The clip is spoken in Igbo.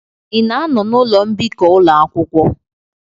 Ị na-anọ n'ụlọ mbikọ ụlọ akwụkwọ?